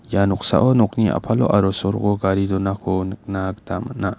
ia noksao nokni a·palo aro soroko gari donako nikna gita man·a.